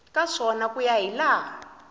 ka swona ku ya hilaha